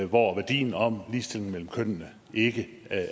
hvor værdien om ligestilling mellem køn ikke